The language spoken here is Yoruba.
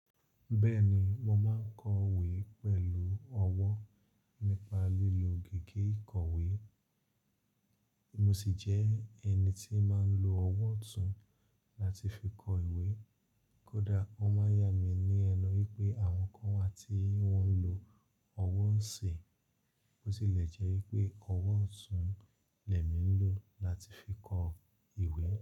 Bẹ́ẹ̀ni, mo máa ń kọ ìwé pẹ̀lú ọwọ́ nípa lílo gègé ìkọ̀wé, mo sì jẹ́ ẹni tí máa ń lo ọwọ́ ọ̀tún láti fi kọ ìwé. Kódà o máa yà mí ní ẹnu wípé àwọn kan wà tí wọ́n ń lo ọwọ́ ọ̀sì, bó tilẹ̀ jẹ́ wípé ọwọ́ ọ̀tún lẹ̀ mí ń lo láti fi kọ ìwé.